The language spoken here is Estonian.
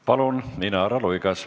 Palun, Inara Luigas!